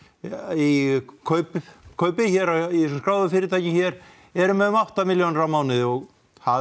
í kaupi kaupi hér í þessum skráðu fyrirtækjum eru með um átta milljónir á mánuði og það